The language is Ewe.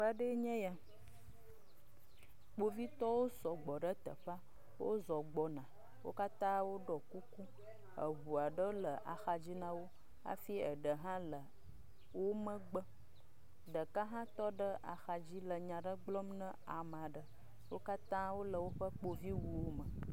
Teƒe aɖee nye ya. Kpovitɔwo sɔgbɔ ɖe teƒea. Wozɔ gbɔna. wo katã woɖɔ kuku. Eŋua ɖe le axadzi na wo afi eɖe hã le wo megbe. Ɖeka hã tɔ ɖe ahadzi le nya aɖe gblɔm na ame aɖe. wo katã wole woƒe kpoviwuwome